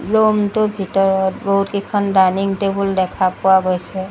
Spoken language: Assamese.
ৰুম টোৰ ভিতৰত বহুতকিখন ডাইনিং টেবুল দেখা পোৱা গৈছে।